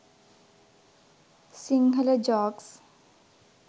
sinhala jokes